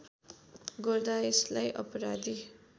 गर्दा यसलाई अपराधी